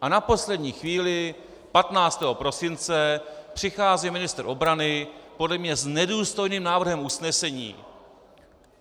A na poslední chvíli 15. prosince přichází ministr obrany podle mě s nedůstojným návrhem usnesení.